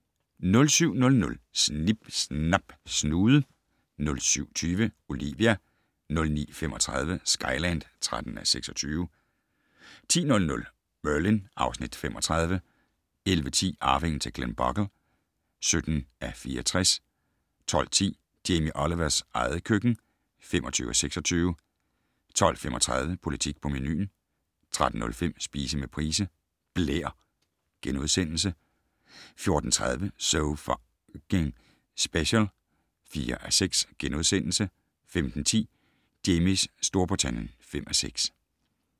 07:00: Snip Snap Snude 07:20: Olivia 09:35: Skyland (13:26) 10:00: Merlin (Afs. 35) 11:10: Arvingen til Glenbogle (17:64) 12:10: Jamie Olivers eget køkken (25:26) 12:35: Politik på menuen 13:05: Spise med Price - blær * 14:30: So F***ing Special (4:6)* 15:10: Jamies Storbritannien (5:6)